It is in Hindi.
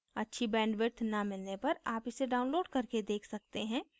अच्छी bandwidth न मिलने पर आप इसे download करके देख सकते हैं